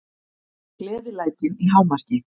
Gleðilætin í hámarki.